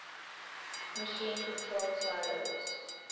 machine controlled silos